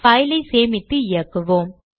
file ஐ சேமித்து இயக்குவோம்